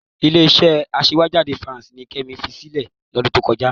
Ilé-iṣẹ́ aṣèwéjádé Evans ni Kẹ́mi fi sílẹ̀ lọ́dún tó kọjá.